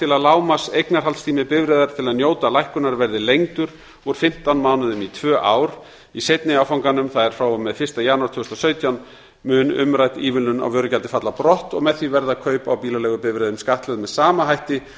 til að lágmarkseignarhaldstími bifreiðar til að njóta lækkunar verði lengdur úr fimmtán mánuðum í tvö ár í seinni áfanganum það er frá og með fyrsta janúar tvö þúsund og sautján mun umrædd ívilnun á vörugjaldi falla brott og með því verða kaup á bílaleigubifreiðum skattlögð með sama hætti